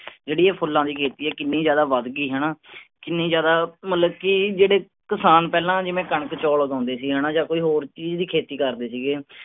ਜਿਹੜੀ ਇਹ ਫੁੱਲਾਂ ਦੀ ਖੇਤੀ ਆ ਕਿੰਨੀ ਜ਼ਿਆਦਾ ਵੱਧ ਗਈ ਹੈਨਾ ਕਿੰਨੀ ਜ਼ਿਆਦਾ ਮਤਲਬ ਕਿ ਜਿਹੜੇ ਕਿਸਾਨ ਪਹਿਲਾਂ ਜਿਵੇਂ ਕਣਕ ਚੌਲ ਉਗਾਉਂਦੇ ਸੀ ਹੈਨਾ ਜਾਂ ਕੋਈ ਹੋਰ ਚੀਜ਼ ਦੀ ਖੇਤੀ ਕਰਦੇ ਸੀਗੇ